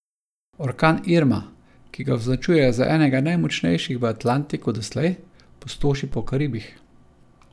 Orkan Irma, ki ga označujejo za enega najmočnejših v Atlantiku doslej, pustoši po Karibih.